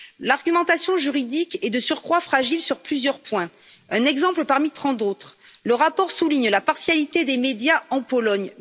L'argumentation juridique est de surcroît fragile sur plusieurs points. Un exemple parmi tant d'autres le rapport souligne la partialité des médias en Pologne.